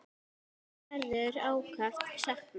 Þín verður ákaft saknað.